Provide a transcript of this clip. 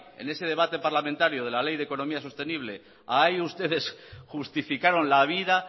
en ese debate parlamentario de la ley de economía sostenible ustedes justificaron la vida